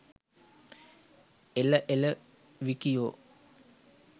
එල එල විකියෝ